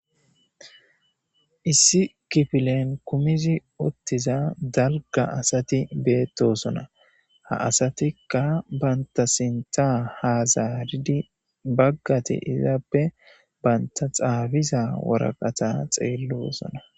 Issi kifilen kumizi ottiza dalga asati beettosona ha asatikka banta sinta hazaaridi baggate izaappe banta xaabiza woraqata xeellosona